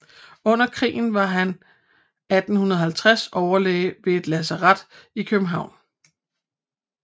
Under krigen var han 1850 overlæge ved et lasaret i København